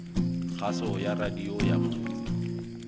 kgaso ya radio ya motse